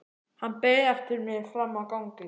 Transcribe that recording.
Hann beið eftir mér frammi á gangi.